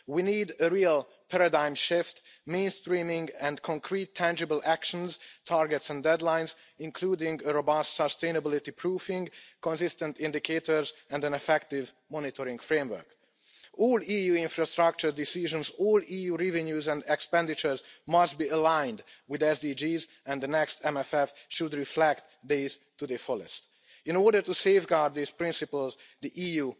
We need a real paradigm shift, mainstreaming, and concrete tangible actions, targets and deadlines, including a robust sustainability proofing, consistent indicators and an effective monitoring framework. All EU infrastructure decisions, all EU revenues and expenditures must be aligned with the SDGs and the next Multiannual Financial Framework should reflect this to the fullest. In order to safeguard these principles, the